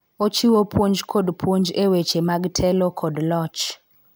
Ochiwo puonj kod puonj e weche mag telo kod loch.